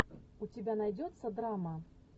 у тебя найдется драма